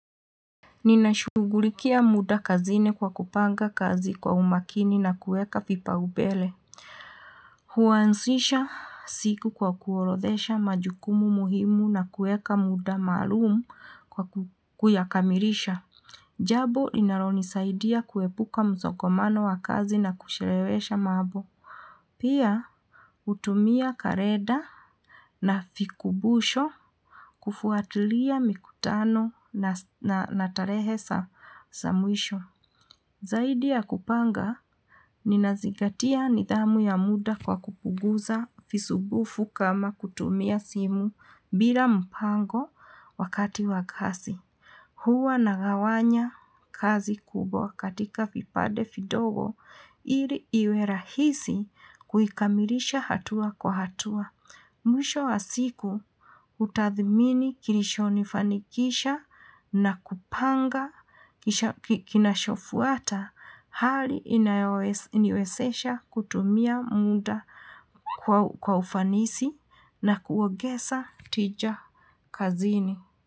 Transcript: Ninashughulikia muda kazini kwa kupanga kazi kwa umakini na kuweka vipaubele. Huansisha siku kwa kuorodhesha majukumu muhimu na kuweka muda maalumu kwa kuyakamirisha. Jabo inalonisaidia kuepuka msokomano wa kazi na kushelewesha maabo. Pia, hutumia kareda na fikubusho kufuatilia mikutano na tarehe sa mwisho. Zaidi ya kupanga, ninazingatia nidhamu ya muda kwa kupuguza fisubufu kama kutumia simu bila mpango wakati wa kasi. Huwa nagawanya kazi kubwa katika fipade fidogo, ili iwerahisi kuikamilisha hatua kwa hatua. Mwisho wa siku hutathimini kirisho nifanikisha na kupanga kinashofuata hali iniwesesha kutumia munda. Kwa ufanisi na kuogesa tija kazini.